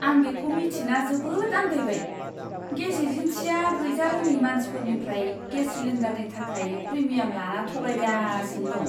आं बेखौ मिथिना जोबोद आन्दायबाय, गेस एजेन्सिआ गैजारोङै मानसिफोरनिफ्राय गेस सिलिन्डारनि थाखाय प्रिमियाम लाना थगायगासिनो दं।